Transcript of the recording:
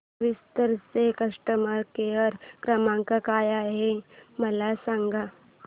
विस्तार चा customer care क्रमांक काय आहे मला सांगा